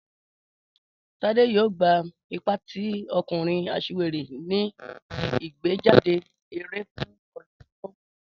Tade yoo gba ipa ti ọkunrin aṣiwere ni igbejade ere fun ọdun to nbọ.